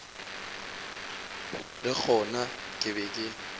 le gona ke be ke